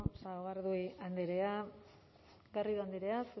eskerrik asko sagardui andrea garrido andrea